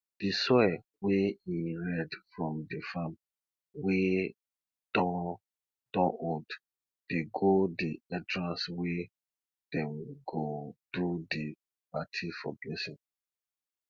di soil wey e red from di farm wey don don old dey go di entrance wey dem go do di party for blessing